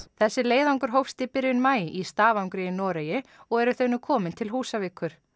þessi leiðangur hófst í byrjun maí í Stafangri í Noregi og eru þau nú komin til Húsavíkur